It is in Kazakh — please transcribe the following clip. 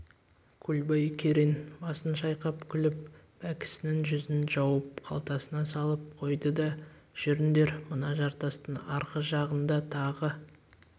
көлбай керең басын шайқай күліп бәкісінің жүзін жауып қалтасына салып қойды да жүріңдер мына жартастың арғы жағында тағы